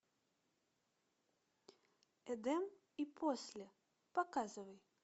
эдем и после показывай